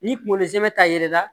Ni kungolo zɛmɛ ta yɛlɛla